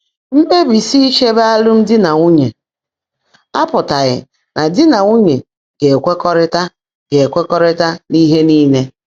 Mkpèbísi ícheèbé álụ́mdị́ nà nwúnyé ápụ́tághị́ ná dí nà nwúnyé gá-èkwekọ́rị́tá gá-èkwekọ́rị́tá n’íhe níle.